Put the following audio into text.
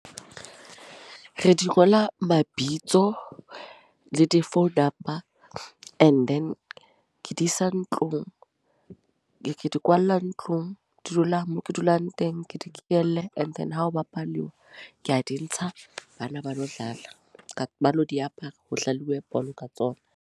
Re di ngola mabitso, le difounu number. And then, ke di isa ntlong. Ke di kwalla ntlong, di dula moo ke dulang teng, ke di kenelle. And then ha o bapaluwa ke a di ntsha bana ba lo dlala ka balo di apara ho dlaliwe bolo ka tsona.